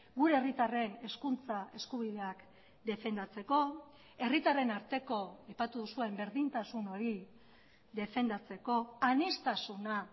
gure herritarren hezkuntza eskubideak defendatzeko herritarren arteko aipatu duzuen berdintasun hori defendatzeko aniztasuna